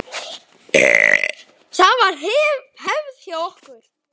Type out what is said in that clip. Það var hefð hjá okkur.